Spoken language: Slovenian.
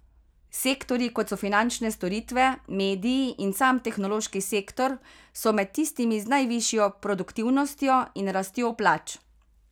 Sektorji, kot so finančne storitve, mediji in sam tehnološki sektor, so med tistimi z najvišjo produktivnostjo in rastjo plač.